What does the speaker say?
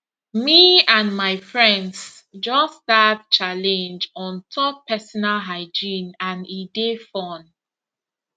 me and my friends just start challenge on top personal hygiene and e dey fun